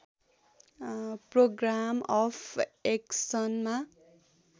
programme of एक्सनमा